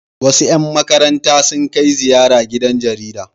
Wasu 'yan markaranta sun kai ziyara gidan jarida.